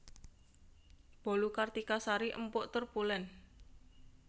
Bolu Kartika Sari empuk tur pulen